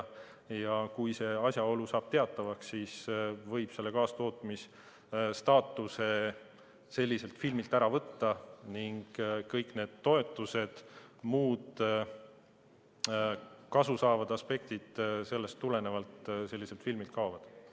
Kui asjaolu saab teatavaks, siis võib kaastootmisstaatuse filmilt ära võtta ning sellest tulenevalt kaovad ka kõik selle filmi toetused ja muud kasutoovad aspektid.